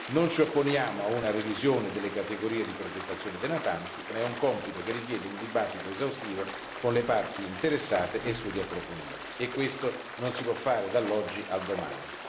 Non ci opponiamo a una revisione delle categorie di progettazione dei natanti ma è un compito che richiede un dibattito esaustivo con le parti interessate e studi approfonditi e questo non si può fare dall'oggi al domani.